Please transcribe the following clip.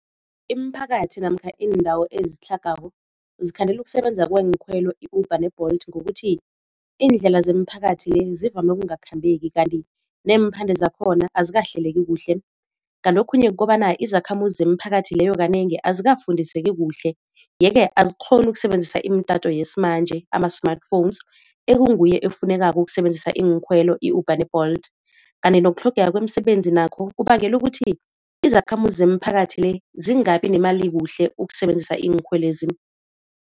Imiphakathi namkha iindawo ezitlhagako zikhandela ukusebenza kweenkhwelo i-Uber ne-Bolt ngokuthi iindlela zemiphakathi le zivame ukungakhambeki kanti neemphande zakhona azikahleleki kuhle. Kanti okhunye kukobana izakhamuzi zemiphakathi leyo kanengi azikafundiseki kuhle, yeke azikghoni ukusebenzisa imitato yesimanje ama-smartphones ekunguye efunekako ukusebenzisa iinkhwelo i-Uber ne-Bolt. Kanti nokutlhogeka kwemisebenzi nakho kubangela ukuthi izakhamuzi zemiphakathi le zingabi nemali kuhle ukusebenzisa iinkhwelezi.